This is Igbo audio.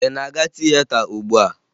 Ị na-aga tieta ugbua?